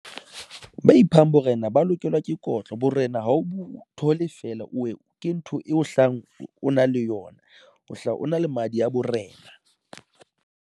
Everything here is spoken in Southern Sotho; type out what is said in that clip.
Ba iphang borena, ba lokelwa ke kotlo borena. ha o thole feela, o ke ntho e o hlayang, o na le yona, o hlahang o na le madi a borena.